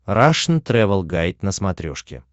рашн тревел гайд на смотрешке